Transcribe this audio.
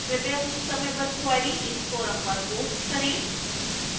कृपया अपनी समयबद्ध क्वेरी इस फोरम पर पोस्ट करें